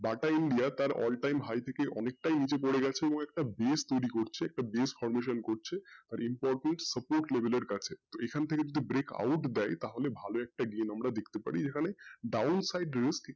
Bata India তার all time অনেকটাই নীচে পড়ে গেছে বলে একটা place তৈরি করছে place reporting এর কাছে এখান থেকে যদি একটা break out দেয় তাহলে ভালো একটা game একটা দেখতে পারি এখানে side একটু,